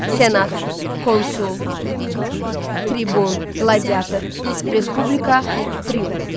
Senat, konsul, tribun, qladiátor, Respublika, triumf.